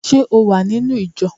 Ṣé o wà nínú ìjọ?